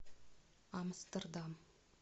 амстердам